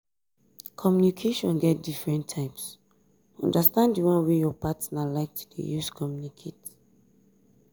communication get different types understand di one wey your partner like to de use communicate